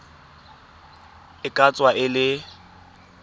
e ka tswa e le